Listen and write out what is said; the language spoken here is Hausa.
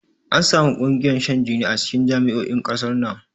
Ansamu ƙungiyoyin shan jini a cikin jami'o'in ƙasar nan